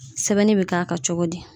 Sɛbɛnni be k'a kan cogo di